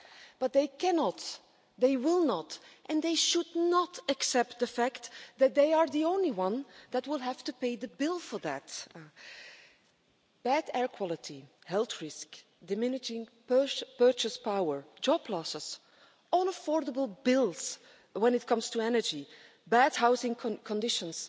But they cannot, they will not and they should not accept the fact that they are the only ones that will have to pay the bill for that bad air quality, health risk, diminishing purchase power, job losses, unaffordable bills when it comes to energy, bad housing conditions.